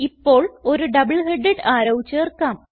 ഇപ്പോൾ ഒരു double headed arrow ചേർക്കാം